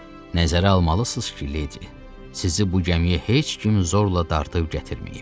Nəzərə almalısız ki, ledi, sizi bu gəmiyə heç kim zorla dartıb gətirməyib.